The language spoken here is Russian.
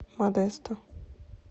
модесто